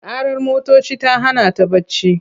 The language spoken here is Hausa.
Ƙarar motoci ta hana ta barci.